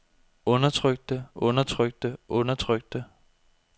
undertrykte undertrykte undertrykte